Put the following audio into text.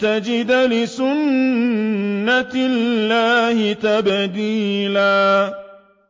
تَجِدَ لِسُنَّةِ اللَّهِ تَبْدِيلًا